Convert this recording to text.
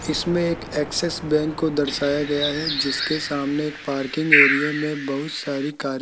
इसमें एक Axis bank को दर्शाया गया है जिसके सामने एक पार्किंग एरिया मे बहुत सारी कारे --